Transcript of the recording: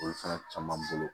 Olu fana caman bolo